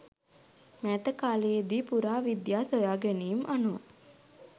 මෑත කාලයේ දී පුරා විද්‍යා සොයා ගැනීම් අනුව